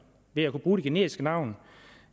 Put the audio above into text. ved at bruge det generiske navn